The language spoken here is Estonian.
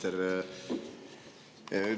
Härra minister!